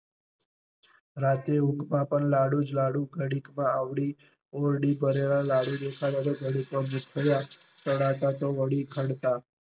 રાત્રે ઊંઘમાં પણ લાડુ જ લાડુ ઘડીક માં આવડી ઓરડી ભરેલા લાડુ દેખાય તો ઘડીક માં